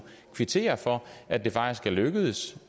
kvittere for at det faktisk er lykkedes